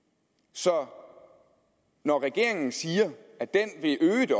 så når regeringen siger at den vil øge det